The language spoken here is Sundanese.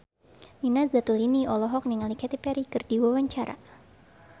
Nina Zatulini olohok ningali Katy Perry keur diwawancara